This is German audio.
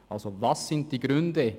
Welches sind die Gründe?